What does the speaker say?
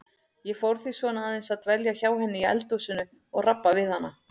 Ég fór því svona aðeins að dvelja hjá henni í eldhúsinu og rabba við hana.